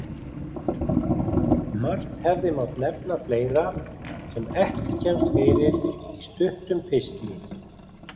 Margt hefði mátt nefna fleira sem ekki kemst fyrir í stuttum pistli.